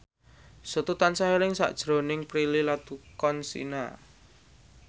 Setu tansah eling sakjroning Prilly Latuconsina